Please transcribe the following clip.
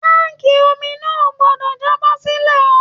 Tánkí omi náà o gbọdọ jábọ́-sílẹ̀ o!